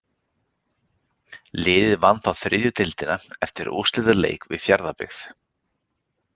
Liðið vann þá þriðju deildina eftir úrslitaleik við Fjarðabyggð.